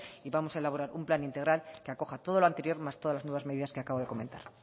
y vamos a elaborar un plan integral que acoja todo lo anterior más todas las nuevas medidas que acabo de comentar